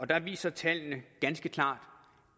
der viser tallene ganske klart